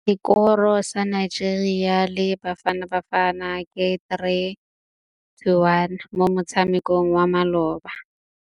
Sekôrô sa Nigeria le Bafanabafana ke 3-1 mo motshamekong wa malôba.